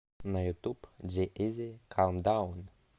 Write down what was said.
на ютуб джи изи калм даун